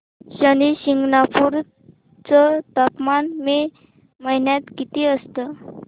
शनी शिंगणापूर चं तापमान मे महिन्यात किती असतं